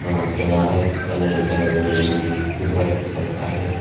मोठे झाड आहेत आणि इथे बिल्डिंग दिसत घर दिसत आहे.